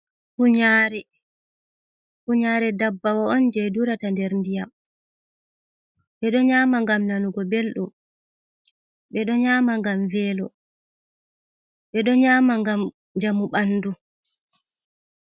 Kunyare dabbawo on je durata der ndiyam. Beɗo nyama gam nanugo beldum. Be do nyama ngam velo, bedo nyama ngam jamu bandu.